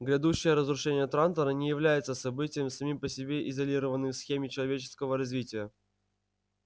грядущее разрушение трантора не является событием самим по себе изолированным в схеме человеческого развития